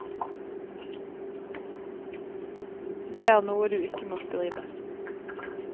Det er noe du ikke må skrive.